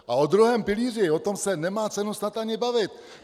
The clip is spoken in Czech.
A o druhém pilíři, o tom se nemá cenu snad ani bavit.